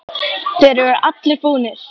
Þeir eru allir búnir.